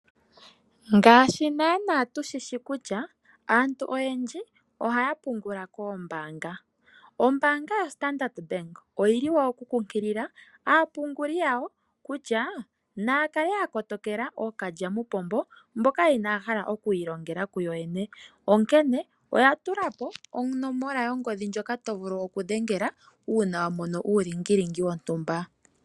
Ngaashi naana tushishi kutya aantu oyendji ohaya pungula koombaanga. Ombaanga yaStandard otayi kunkilile aapunguli yawo kutya naya kale ya kotokela ookalyamupombo mboka inaya hala oku ilongela kuyo yene . Onomola yongodhi ndjoka to vulu okudhengela uuna wamono wontumba.